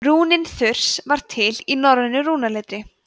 rúnin þurs var til í norrænu rúnaletri